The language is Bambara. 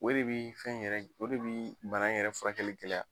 O de bɛ fɛn yɛrɛ o de bɛ bana in yɛrɛ furakɛli gɛlɛya.